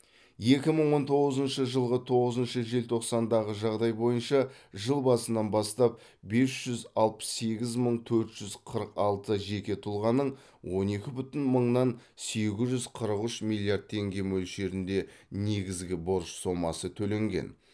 екі мың он тоғызыншы жылғы тоғызыншы желтоқсандағы жағдай бойынша жыл басынан бастап бес жүз алпыс сегіз мың төрт жүз қырық алты жеке тұлғаның он екі бүтін мыңнан сегіз жүз қырық үш миллиард теңге мөлшерінде негізгі борыш сомасы төленген